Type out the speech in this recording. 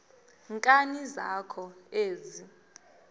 nkani zakho ezi